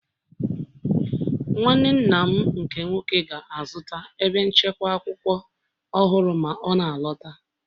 Nwanne nna m nke nwoke ga-azụta ebe nchekwa akwụkwọ ọhụrụ ma ọ na-alọta